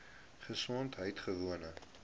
gesondheidgewoon